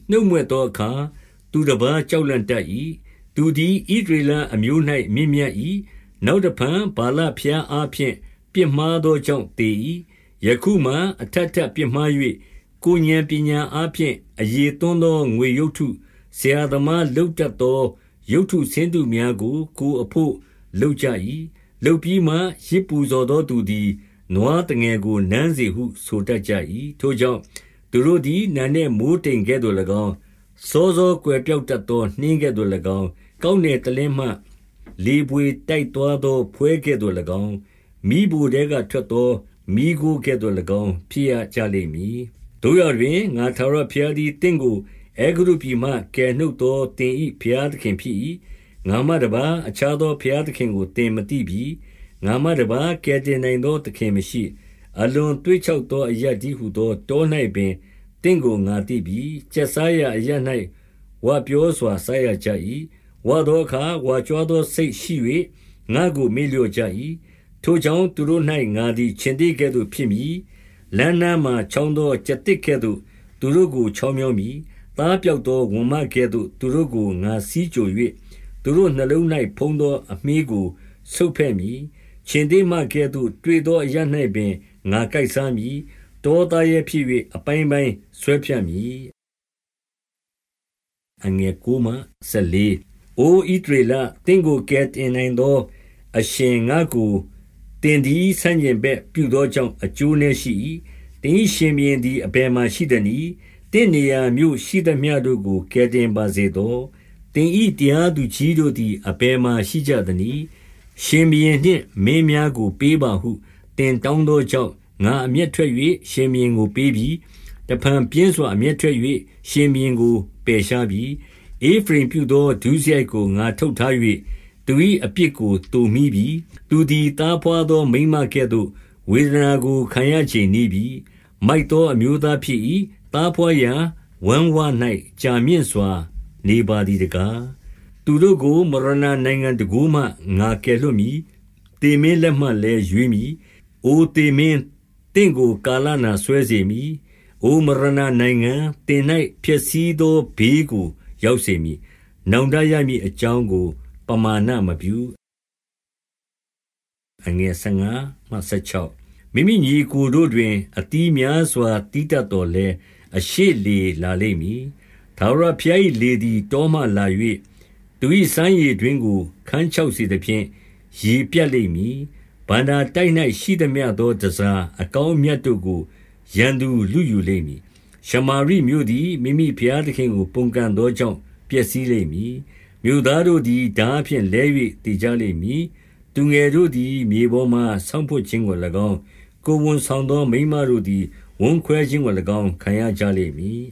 နှုတ်မြွက်သောအခါ သူတပါး ကြောက်လန့်တတ်၏။ သူသည် ဣသရေလအမျိုး၌ မြင့် မြတ်၏။ နောက်တဖန် ဗာလဘုရားအားဖြင့် ပြစ်မှား သောကြောင့် သေ၏။ ယခုမှာ အထပ်ထပ်ပြစ်မှား၍ ကိုယ်ဥာဏ်ပညာ အားဖြင့် အရည်သွန်းသော ငွေရုပ်တု၊ ဆရာသမား လုပ်တတ်သော ရုပ်တုဆင်းတုများကို ကိုယ့်အဘို့ လုပ်ကြ ၏။ လုပ်ပြီးမှ ယဇ်ပူဇော်သောသူသည် နွားသငယ်ကို နမ်းစေဟု ဆိုတတ်ကြ၏။ ထိုကြောင့်၊ သူတို့သည် နံနက်မိုဃ်းတိမ်ကဲ့သို့၎င်း၊ စောစောကွယ်ပျောက်တတ်သော နှင်းကဲ့သို့၎င်း၊ ကောက်နယ်တလင်းမှ လေဘွေတိုက်သွားသော ဖွဲကဲ့သို့ ၎င်း၊ မီးဖိုထဲကထွက်သော မီးခိုးကဲ့သို့၎င်း ဖြစ်ရကြလိမ့် မည်။ သို့ရာတွင်၊ ငါထာဝရဘုရားသည် သင့်ကို အဲဂုတ္တုပြည်မှ ကယ်နှုတ်သော သင်၏ဘုရားသခင် ဖြစ်၏။ ငါမှတပါး အခြားသော ဘုရားသခင်ကို သင်မသိ ပြီ။ ငါမှတပါး ကယ်တင်နိုင်သော သခင်မရှိ။ အလွန်သွေ့ခြောက်သော အရပ်တည်းဟူသော တော၌ပင် သင့်ကို ငါသိပြီ။ ကျက်စားရာအရပ်၌ ဝပြော စွာ စားရကြ၏။ ဝသောအခါ ဝါကြွားသော စိတ်ရှိ၍ ငါ့ကို မေ့ လျော့ကြ၏။ ထိုကြောင့်၊ သူတို့၌ ငါသည် ခြင်္သေ့ကဲ့သို့ ဖြစ် မည်။ လမ်းနားမှာ ချောင်းသော ကျားသစ်ကဲ့သို့ သူတို့ကို ချောင်းမြောင်းမည်။ သားပျောက်သော ဝံမကဲ့သို့ သူတို့ကို ငါဆီးကြို ၍၊ သူတို့နှလုံး၌ ဖုံးသော အမြှေးကို ဆုတ်ဖဲ့မည်။ ခြင်္သေ့ မင်းကဲ့သို့ တွေ့သောအရပ်၌ပင် ငါကိုက်စားမည်။ တော သားရဲဖြစ်၍ အပိုင်းပိုင်းဆွဲဖြတ်မည်။ အို ဣသရေလ၊ သင့်ကို ကယ်တင်နိုင်သော အရှင် ငါ့ကို သင်သည် ဆန့်ကျင်ဘက်ပြုသောကြောင့် အကျိုးနည်းရှိ၏။ သင်၏ ရှင်ဘုရင်သည် အဘယ်မှာ ရှိသနည်း။ သင့်နေရာမြို့ရှိသမျှတို့၌ ကယ်တင်ပါစေသော။ သင်၏ တရားသူကြီးတို့သည် အဘယ်မှာ ရှိကြသနည်း။ ရှင်ဘုရင်နှင့် မင်းများကို ပေးပါဟု သင် တောင်းသောကြောင့်၊ ငါအမျက်ထွက်၍ ရှင်ဘုရင်ကို ပေးပြီ။ တဖန်ပြင်းစွာ အမျက်ထွက်၍ ရှင်ဘုရင်ကို ပယ် ရှားပြီ။ ဧဖရိမ်ပြုသော ဒုစရိုက်ကို ငါထုပ်ထား၍ သူ၏ အပြစ်ကို သိုမှီးပြီ။ သူသည် သားဘွားသော မိန်းမကဲ့သို့ ဝေဒနာကို ခံရချိန်နီးပြီ။ မိုက်သောအမျိုးသားဖြစ်၏။ သားဘွားရာ ဝမ်းဝ၌ ကြာမြင့်စွာနေပါသည်တကား။ သူတို့ကို မရဏာနိုင်ငံတန်ခိုးမှ ငါကယ်လွှတ် မည်။ သေမင်းလက်မှလည်း ရွေးမည်။ အိုသေမင်း၊ သင့် ကို ကာလနာ စွဲစေမည်။ အိုမရဏာနိုင်ငံ၊ သင်၌ ဖျက်ဆီး သောဘေးကို ရောက်စေမည်။ နောင်တရမည်အကြောင်း ကို ပမာဏမပြု။ မိမိညီအစ်ကိုတို့တွင် အသီးများစွာ သီးတတ် သော်လည်း၊ အရှေ့လေလာလိမ့်မည်။ ထာဝရဘုရား၏ လေသည် တောမှလာ၍ သူ၏စမ်းရေတွင်းကို ခန်းခြောက်စေသဖြင့် ရေပြတ်လိမ့်မည်။ ဘဏ္ဍာတိုက်၌ ရှိသ မျှသော တန်ဆာအကောင်းအမြတ်တို့ကို ရန်သူ လုယူ လိမ့်မည်။ ရှမာရိမြို့သည် မိမိဘုရားသခင်ကို ပုန်ကန်သောကြောင့် ပျက်စီးလိမ့်မည်။ မြို့သားတို့သည် ထားဖြင့် လဲ၍ သေကြလိမ့်မည်။ သူငယ်တို့သည် မြေပေါ်မှာ ဆောင့်ဖွပ်ခြင်းကို၎င်း၊ ကိုယ်ဝန်ဆောင်သောမိန်းမတို့ သည် ဝမ်းခွဲခြင်းကို၎င်း ခံရကြလိမ့်မည်